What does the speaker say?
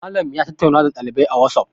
Malam ya tattauna da ɗaliban a wasof